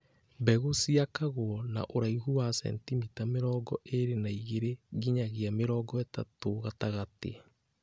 Mbegũ ciakagwo na ũraihu wa sentimita mĩrongo ĩrĩ na igĩrĩ nginyagia mĩrongo ĩtatũ gatagatĩ